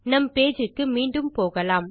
நம் பேஜ் க்கு மீண்டும் போகலாம்